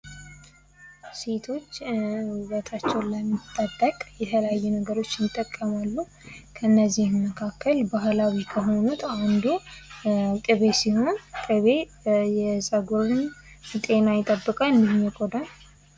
ሴቶች ዉበታቸውን ለመጠበቅ የተለያዩ ነገሮችን ይጠቀማሉ፤ ከነዚህም መካከል ባህላዊ ከሆኑት አንዱ ቅቤ ሲሆን ቅቤ የጸጉርን ጤና ይጠብቃል እንዲሁም የቆዳን።